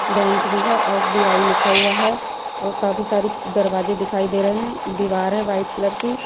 Bank भी है S B I लिखा हुआ है और काफी सारी दरवाजे दिखाई दे रहे हैं दीवार है व्हाईट कलर की।